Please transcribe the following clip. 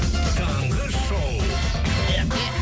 таңғы шоу